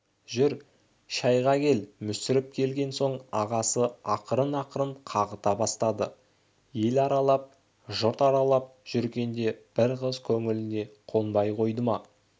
жүр шайға кел мүсіреп келген соң ағасы ақырын-ақырын қағыта бастады ел аралап жұрт аралап жүргенде бір қыз көңіліңе қонбай қойды ма